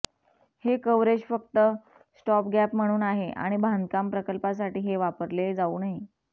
हे कव्हरेज फक्त स्टॉपगॅप म्हणून आहे आणि बांधकाम प्रकल्पासाठी हे वापरले जाऊ नये